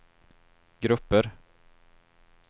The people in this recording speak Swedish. grupper